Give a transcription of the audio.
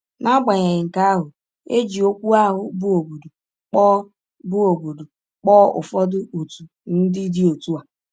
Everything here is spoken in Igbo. N’agbanyeghị nke ahụ, e ji okwu ahụ bụ́ “obodo” kpọọ bụ́ “obodo” kpọọ ụfọdụ òtù ndị dị otu a.